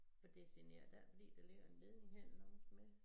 For det generer da ikke fordi der ligger en ledning hen langs med